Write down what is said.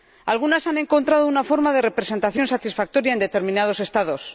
Algunas han encontrado una forma de representación satisfactoria en determinados Estados